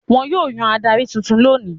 Wọn yóò yan adarí tuntun lónìí.